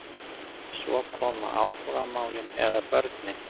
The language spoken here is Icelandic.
Svo koma áhugamálin eða börnin.